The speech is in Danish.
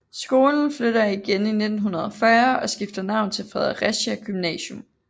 Skolen flytter igen i 1940 og skifter navn til Fredericia Gymnasium